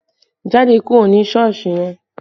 Jáde kúrò ní Sọ́ọ̀sì yẹn!